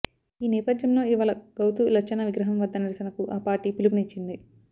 ఈ నేపథ్యంలో ఇవాళ గౌతు లచ్చన్న విగ్రహం వద్ద నిరసనకు ఆ పార్టీ పిలుపునిచ్చింది